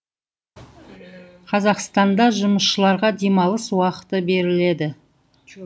қазақстанда жұмысшыларға демалыс уақыты беріледі